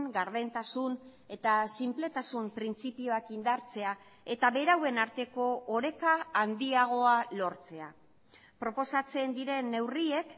gardentasun eta sinpletasun printzipioak indartzea eta berauen arteko oreka handiagoa lortzea proposatzen diren neurriek